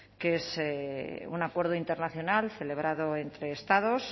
que es un acuerdo internacional celebrado entre estados